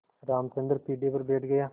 रामचंद्र पीढ़े पर बैठ गया